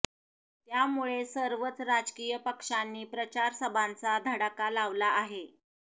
त्यामुळे सर्वच राजकीय पक्षांनी प्रचार सभांचा धडाका लावला आहे